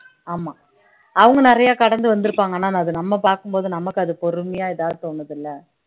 ஆமா அவங்க நிறைய கடந்து வந்திருப்பாங்க ஆனா அது நம்ம பார்க்கும் போது நமக்கு அது பொறுமையா ஏதாவது தோணுதுல்ல